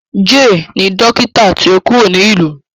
Jay ni dókítà tí o kuro nio